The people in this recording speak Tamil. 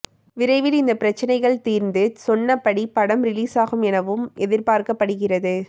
விரைவில் இந்த பிரச்சனைகள் தீர்ந்து சொன்னபடி படம் ரிலீசாகும் எனவும் எதிர்பார்க்கப்படுகிறது